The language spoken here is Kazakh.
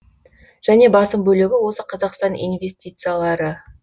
және басым бөлігі осы қазақстан инвестициялары